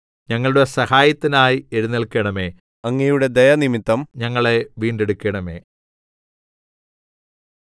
ഞങ്ങളുടെ സഹായത്തിനായി എഴുന്നേല്ക്കണമേ അങ്ങയുടെ ദയനിമിത്തം ഞങ്ങളെ വീണ്ടെടുക്കണമേ